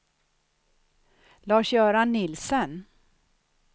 Lars-Göran Nielsen